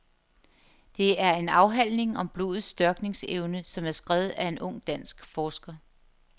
Det er en afhandling om blodets størkningsevne, som er skrevet af en ung dansk forsker.